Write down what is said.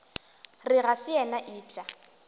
re ga se yena eupša